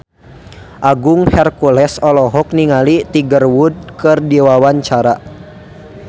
Agung Hercules olohok ningali Tiger Wood keur diwawancara